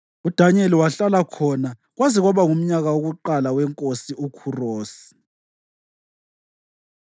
UDanyeli wahlala khona kwaze kwaba ngumnyaka wokuqala weNkosi uKhurosi.